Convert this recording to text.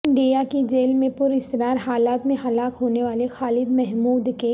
India کی جیل میں پراسرار حالات میں ہلاک ہونے والے خالد محمود کے